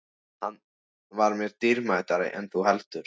Hann var mér dýrmætari en þú heldur.